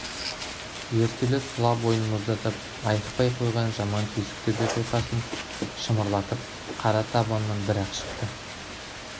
ертелі тұла бойын мұздатып айықпай қойған жаман түйсік төбе құйқасын шымырлатып қара табанынан бір-ақ шықты